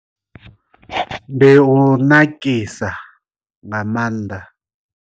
Ndi u nakisa nga maanḓa.